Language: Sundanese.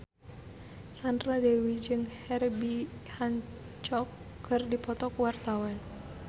Sandra Dewi jeung Herbie Hancock keur dipoto ku wartawan